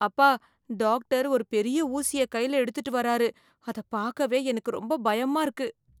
அப்பா, டாக்டர் ஒரு பெரிய ஊசிய கைல எடுத்துட்டு வராரு. அத பாக்கவே எனக்கு ரொம்ப பயமா இருக்கு.